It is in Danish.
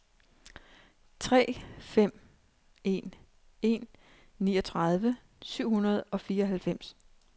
tre fem en en niogtredive syv hundrede og fireoghalvfems